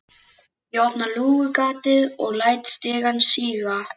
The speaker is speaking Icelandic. Ég opna lúgugatið og læt stigann síga.